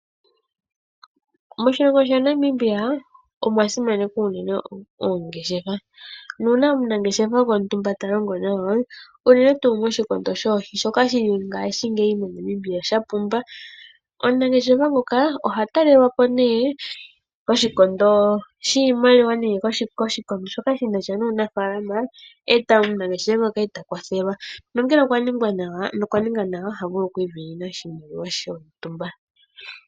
Moshilongo shaNamibia omwa simanekwa unene oongeshefa, nuuna omunangeshefa gontumba ta longo nawa, unene tuu moshikondo shoohi shoka ngaashingeyi moNamibia sha pumba. Omunangeshefa oha talelwa po koshikondo shiimaliwa nenge koshikondo shoka shi na sha nuunafaalama, omunangeshefa ngoka e ta kwathelwa nongele okwa ninga nawa, oha vulu oku isindanena oshimaliwa shontumba.